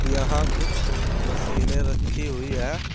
यहां कुछ मशीनें रखी हुई हैं।